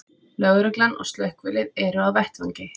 Lögreglan og slökkvilið eru á vettvangi